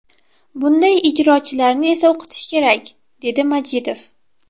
Bunday ijrochilarni esa o‘qitish kerak”, dedi Majidov.